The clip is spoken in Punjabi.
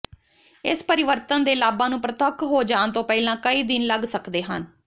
ਇਸ ਪਰਿਵਰਤਨ ਦੇ ਲਾਭਾਂ ਨੂੰ ਪ੍ਰਤੱਖ ਹੋ ਜਾਣ ਤੋਂ ਪਹਿਲਾਂ ਕਈ ਦਿਨ ਲੱਗ ਸਕਦੇ ਹਨ